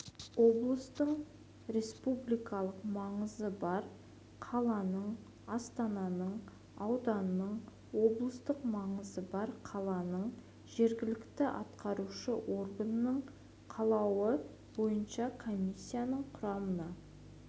облыстың республикалық маңызы бар қаланың астананың ауданның облыстық маңызы бар қаланың жергілікті атқарушы органының қалауы бойынша комиссияның құрамына